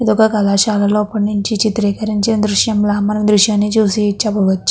ఇది ఒక కళాశాలలో అప్పటినుంచి చిత్రీకరించిన దృశ్యంలా మనం ఈ దృశ్యాన్ని చూసి చెప్పవచ్చు.